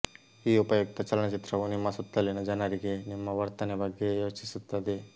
ಈ ಉಪಯುಕ್ತ ಚಲನಚಿತ್ರವು ನಿಮ್ಮ ಸುತ್ತಲಿನ ಜನರಿಗೆ ನಿಮ್ಮ ವರ್ತನೆ ಬಗ್ಗೆ ಯೋಚಿಸುತ್ತದೆ